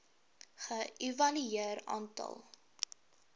ge evalueer aantal